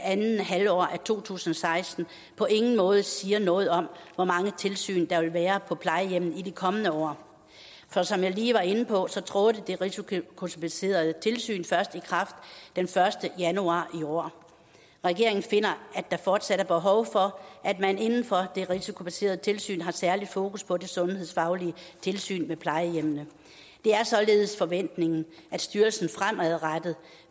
andet halvår af to tusind og seksten på ingen måde siger noget om hvor mange tilsyn der vil være på plejehjemmene i de kommende år for som jeg lige var inde på trådte det risikobaserede tilsyn først i kraft den første januar i år regeringen finder at der fortsat er behov for at man inden for det risikobaserede tilsyn har særlig fokus på det sundhedsfaglige tilsyn med plejehjemmene det er således forventningen at styrelsen fremadrettet